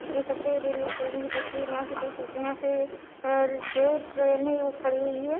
इ देख सकते है रेल्वे स्टेशन की तस्वीर यहाँ पे देख सकते है यहाँ पे और जो ट्रेने यू खड़ी हुई है।